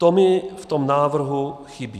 To mi v tom návrhu chybí.